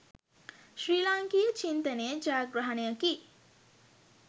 ශ්‍රී ලාංකීය චින්තනයේ ජයග්‍රහණයකි